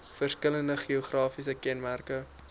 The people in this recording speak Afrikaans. verskillende geografiese kenmerke